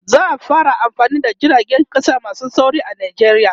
za'a fara amfani da jiragen ƙasa masu sauri a nijeriya